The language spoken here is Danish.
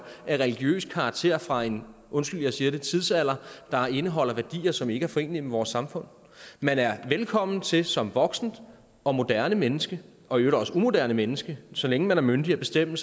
af religiøs karakter fra en undskyld jeg siger det tidsalder der indeholder værdier som ikke er forenelige med vores samfund man er velkommen til som voksent og moderne menneske og i øvrigt også umoderne menneske så længe man er myndig at bestemme